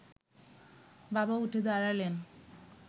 বাবা উঠে দাঁড়ালেন